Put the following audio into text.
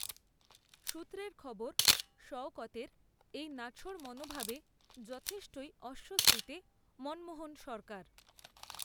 সূত্রের খবর, শওকতের, এই নাছোড় মনোভাবে, যথেষ্টই, অস্বস্তিতে মনমোহন সরকার